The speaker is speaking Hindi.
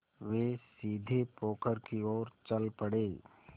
वे सीधे पोखर की ओर चल पड़े